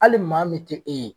Hali maa min te e ye